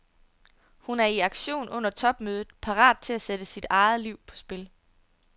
Hun er i aktion under topmødet, parat til at sætte sig eget liv på spil.